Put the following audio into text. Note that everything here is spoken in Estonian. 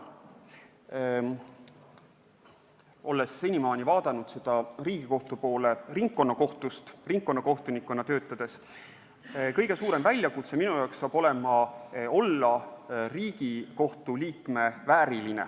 Olles senimaani vaadanud Riigikohtu poole ringkonnakohtust, ringkonnakohtunikuna töötades, tundub kõige suurem väljakutse minu jaoks olevat olla Riigikohtu liikme vääriline.